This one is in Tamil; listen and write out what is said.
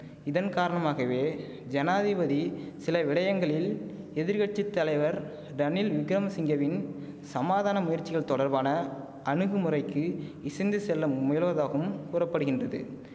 இதன் காரணமாகவே ஜனாதிபதி சில விடயங்களில் எதிர் கட்சி தலைவர் டணில் விக்கிரமசிங்கவின் சமாதான முயற்சிகள் தொடர்பான அணுகுமுறைக்கு இசைந்து செல்ல முயல்வதாகவும் கூற படுகின்றது